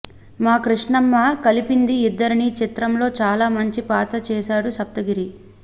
మా కృష్ణమ్మ కలిపింది ఇద్దరిని చిత్రంలో చాలా మంచి పాత్ర చేశాడు సప్తగిరి